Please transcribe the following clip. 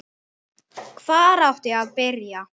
HVAR ÁTTI AÐ BYRJA?